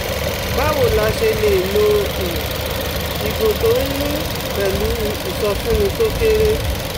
Báwo la ṣe lè lo um ìgò tó ń yùn pẹ̀lú ìsọfúnni tó kéré?